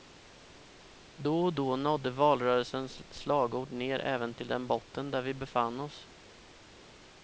Då och då nådde valrörelsens slagord ner även till den botten där vi befann oss.